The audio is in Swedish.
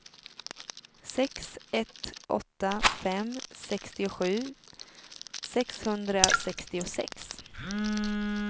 sex ett åtta fem sextiosju sexhundrasextiosex